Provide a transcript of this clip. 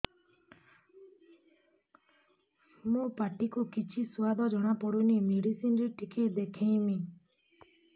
ମୋ ପାଟି କୁ କିଛି ସୁଆଦ ଜଣାପଡ଼ୁନି ମେଡିସିନ ରେ ଟିକେ ଦେଖେଇମି